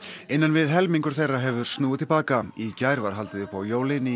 innan við helmingur þeirra hefur snúið til baka í gær var haldið upp á jólin í